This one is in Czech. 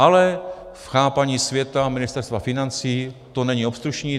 Ale v chápání světa Ministerstva financí to není obstrukční.